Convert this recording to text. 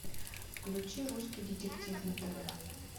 включи русский детектив на тв